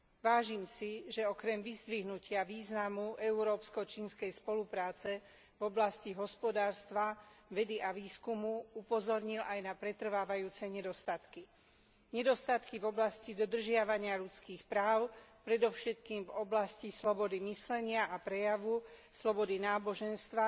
Vážim si, že okrem vyzdvihnutia významu európsko čínskej spolupráce v oblasti hospodárstva, vedy a výskumu upozornil aj na pretrvávajúce nedostatky nedostatky v oblasti dodržiavania ľudských práv, predovšetkým v oblasti slobody myslenia a prejavu, slobody náboženstva